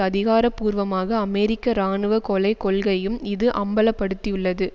அதிகார பூர்வமாக அமெரிக்க இராணுவ கொலை கொள்கையையும் இது அம்பல படுத்தியுள்ளது